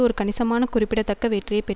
ஒரு கணிசமான குறிப்பிடத்தக்க வெற்றியை பெற்